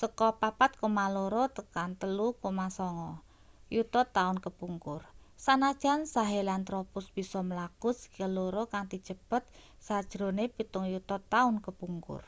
saka 4,2-3,9 yuta taun kepungkur sanajan sahelanthropus bisa mlaku sikil loro kanthi cepet sajrone pitung yuta taun kepungkur